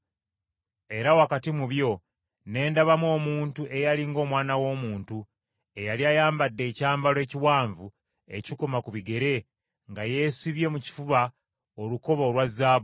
Era wakati mu byo ne ndabamu omuntu “eyali ng’Omwana w’Omuntu” eyali ayambadde ekyambalo ekiwanvu ekikoma ku bigere, nga yeesibye mu kifuba olukoba olwa zaabu.